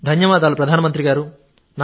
ధన్యవాదాలు ప్రధానమంత్రి గారూ